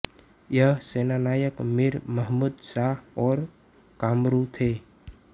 ये सेनानायक मीर मुहम्मद शाह और कामरू थे